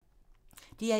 DR1